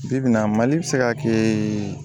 Bi bi in na mali bɛ se ka kɛ